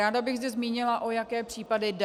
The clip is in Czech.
Ráda bych zde zmínila, o jaké případy jde.